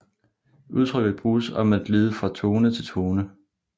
Udtrykket bruges om at glide fra tone til tone